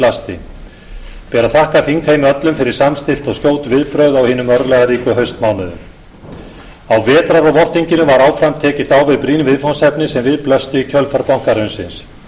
ber að þakka þingheimi öllum fyrir samstillt og skjót viðbrögð á hinum örlagaríku haustmánuðum á vetrar og vorþinginu var áfram tekist á við brýn viðfangsefni sem við blöstu í kjölfar bankahrunsins